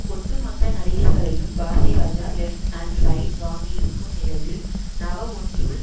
ஒட்டுமொத்த நடிகர்களையும் Bharathiraja left and right வாங்கியிருக்கும் நிலையில் நவஒன்றுல்